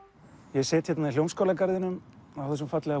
ég sit hérna í Hljómskálagarðinum á þessum fallega